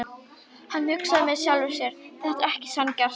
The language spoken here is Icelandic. Hann hugsaði með sjálfum sér: Þetta er ekki sanngjarnt.